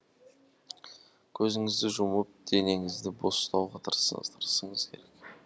көзіңізді жұмып денеңізді бос ұстауға тырысыңыз керек